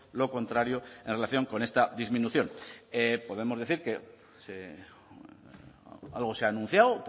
lo contrario en relación con esta disminución podemos decir que algo se ha anunciado